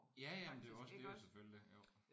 Ja ja men det er jo også det er jo selvfølgelig jo